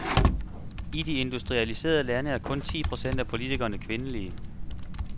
I de industrialiserede lande er kun ti procent af politikerne kvindelige.